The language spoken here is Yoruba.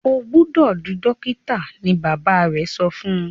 o gbódò dì dókítà! ní bàbá rẹ so fún.